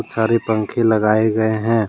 सारे पंखे लगाए गए हैं।